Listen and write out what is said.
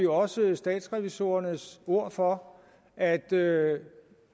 også statsrevisorernes ord for at det